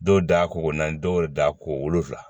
Dɔw da ko naani dɔw da ko wolonvila